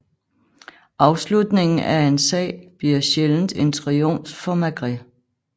Afslutningen af en sag bliver sjældent en triumf for Maigret